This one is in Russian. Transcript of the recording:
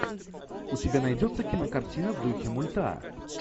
у тебя найдется кинокартина в духе мульта